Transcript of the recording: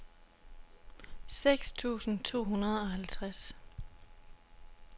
seks tusind to hundrede og halvtreds